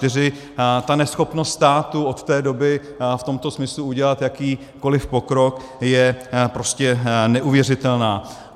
Ta neschopnost státu od té doby v tomto smyslu udělat jakýkoliv pokrok je prostě neuvěřitelná.